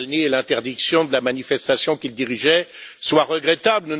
Navalny et l'interdiction de la manifestation qu'il dirigeait soient regrettables